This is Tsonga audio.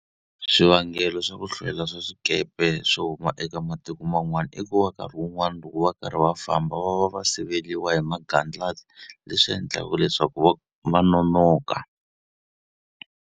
Swivangelo swa ku hlwela ka swikepe swo huma eka matiko man'wana i ku va nkarhi wun'wani loko va karhi va famba va va va siveriwa hi magandlati, leswi endlaka leswaku va va nonoka.